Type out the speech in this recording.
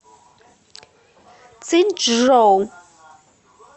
циньчжоу